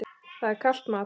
Það er kalt mat.